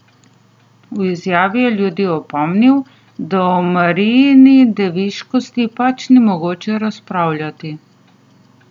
V izjavi je ljudi opomnil, da o Marijini deviškosti pač ni mogoče razpravljati.